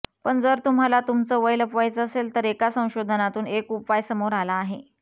पण जर तुम्हाला तुमच वय लपवायचं असेल तर एका संशोधनातून एक उपाय समोर आला आहे